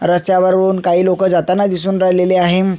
रस्त्या वरुण काही लोक जाताना दिसून राहिलेले आहे.